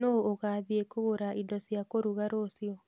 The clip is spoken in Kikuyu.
Nũũ ũgathiĩ kũgĩra indo cia kũruga rũciu?